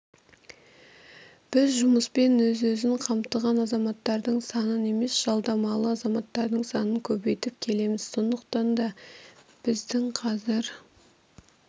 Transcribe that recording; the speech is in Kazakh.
біз жұмыспен өз-өзін қамтыған азаматтардың санын емес жалдамалы азаматтардың санын көбейтіп келеміз сондықтан да біздің қазір